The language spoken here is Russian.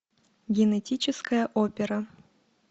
генетическая опера